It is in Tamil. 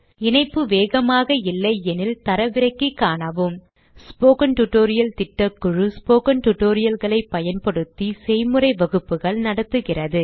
இணைப்பு வேகமாக இல்லையெனில் தரவிறக்கி காணவும் ஸ்போக்கன் டியூட்டோரியல் திட்டக்குழு ஸ்போக்கன் tutorial களைப் பயன்படுத்தி செய்முறை வகுப்புகள் நடத்துகிறது